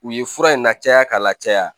U ye fura in na caya k'a la caya